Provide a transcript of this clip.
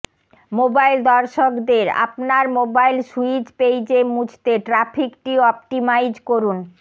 mobile দর্শকদের আপনার mobile স্যুইজ পেইজে মুছতে ট্র্যাফিকটি অপটিমাইজ করুন